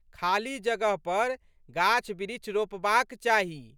खाली जगह पर गाछबिरीछ रोपबाक चाही।